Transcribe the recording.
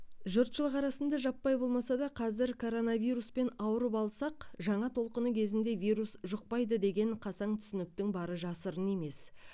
жұртшылық арасында жаппай болмаса да қазір коронавируспен ауырып алсақ жаңа толқыны кезінде вирус жұқпайды деген қасаң түсініктің бары жасырын емес